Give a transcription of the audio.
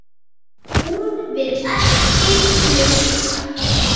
Hún vill ekki hlusta.